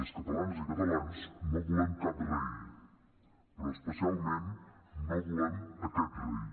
les catalanes i catalans no volem cap rei però especialment no volem aquest rei